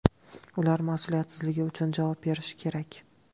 Ular mas’uliyatsizligi uchun javob berishi kerak.